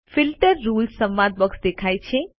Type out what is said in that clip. filter rules સંવાદ box દેખાય છે